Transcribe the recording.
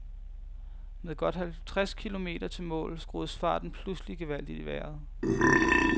Med godt halvtreds kilometer til mål skruedes farten pludselig gevaldigt i vejret.